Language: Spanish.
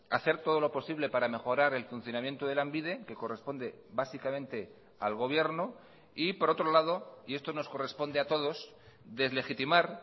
hacer todo lo posible para mejorar el funcionamiento de lanbide que corresponde básicamente al gobierno y por otro lado y esto nos corresponde a todos deslegitimar